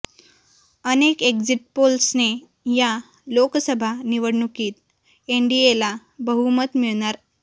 अनेक एक्झिट पोल्सने या लोकसभा निवडणुकीत एनडीएला बहुमत मिळणार